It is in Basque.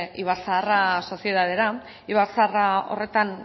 ibar zaharra sozietatera ibar zaharra horretan